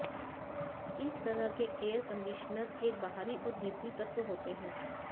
इस तरह के एयर कंडीशनर एक बाहरी और भीतरी तत्व होते हैं